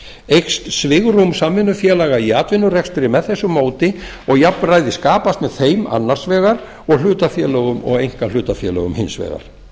eykst svigrúm samvinnufélaga í atvinnurekstri með þessu móti og jafnræði skapast með þeim annars vegar og hlutafélögum og einkahlutafélögum hins vegar